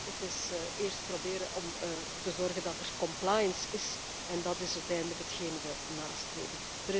Maar het is eerst proberen om ervoor te zorgen dat er compliance is en dat is uiteindelijk hetgeen wij nastreven.